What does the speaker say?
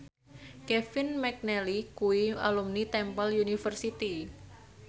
Kevin McNally kuwi alumni Temple University